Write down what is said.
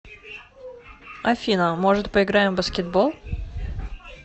афина может поиграем в баскетбол